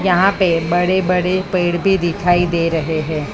यहां पे बड़े बड़े पेड़ भी दिखाई दे रहे हैं।